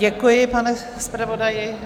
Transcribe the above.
Děkuji, pane zpravodaji.